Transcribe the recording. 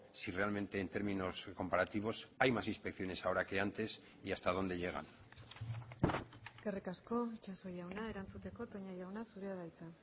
si realmente en términos comparativos hay más inspecciones ahora que antes y hasta dónde llegan eskerrik asko itsaso jauna erantzuteko toña jauna zurea da hitza